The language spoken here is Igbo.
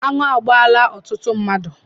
Anụ agbaala ọtụtụ mmadụ.